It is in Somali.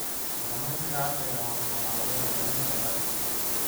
Kalluumeysiga casriga ah wuxuu caawiyaa ilaalinta kheyraadka.